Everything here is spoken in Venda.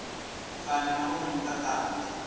kana na vha muta kana